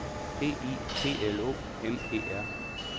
D I P L O M E R